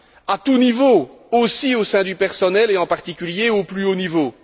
à tout niveau, notamment au sein du personnel, et en particulier au plus haut niveau.